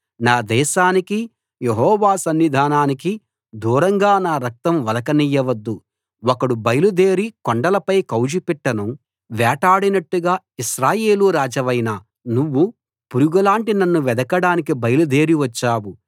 నా దేశానికి యెహోవా సన్నిధానానికి దూరంగా నా రక్తం ఒలక నియ్యవద్దు ఒకడు బయలుదేరి కొండలపై కౌజుపిట్టను వేటాడినట్టుగా ఇశ్రాయేలు రాజవైన నువ్వు పురుగులాంటి నన్ను వెదకడానికి బయలుదేరి వచ్చావు